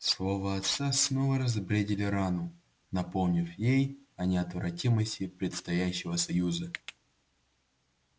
слова отца снова разбередили рану напомнив ей о неотвратимости предстоящего союза